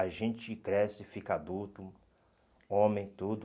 A gente cresce, fica adulto, homem, tudo...